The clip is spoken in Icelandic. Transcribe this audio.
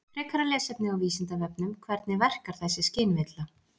Frekara lesefni á Vísindavefnum Hvernig verkar þessi skynvilla?